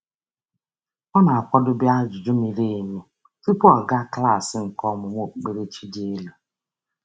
Ọ na-akwadobe ajụjụ miri emi tụpụ ọ gaa klaasị nke ọmúmú okpukperechi dị elu.